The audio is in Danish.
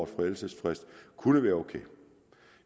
forældelsesfrist kunne være ok